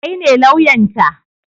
Kai ne lauyan ta?